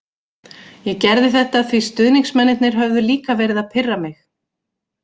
Ég gerði þetta því stuðningsmennirnir höfðu líka verið að pirra mig.